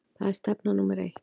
Það er stefna númer eitt.